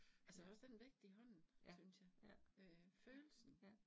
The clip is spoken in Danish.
Altså også den vægt i hånden, synes jeg øh følelsen